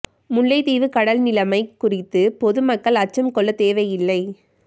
முல்லைத்தீவு கடல் நிலமை குறித்து பொது மக்கள் அச்சம் கொள்ளத் தேவையில்லை